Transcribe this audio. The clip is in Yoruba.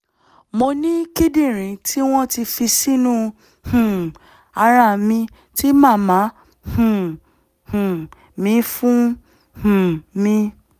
mo ní kíndìnrín tí wọ́n ti fi sínú um ara mi tí màmá um um mi fún um mi